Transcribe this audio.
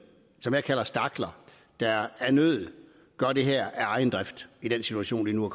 som jeg kalder stakler der af nød gør det her af egen drift i den situation de nu